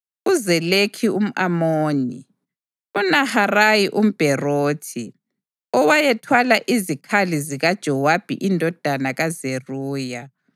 uZelekhi umʼAmoni, uNaharayi umBherothi, owayethwala izikhali zikaJowabi indodana kaZeruya,